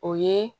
O ye